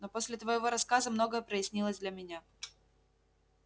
но после твоего рассказа многое прояснилось для меня